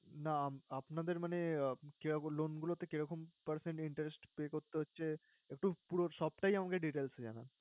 না উম আপনাদের মানে, কিরকম loan গুলোতে কি রকম percent interest pay করতে হচ্ছে, একটু পুরো সবটাই আমাকে details এ জানান।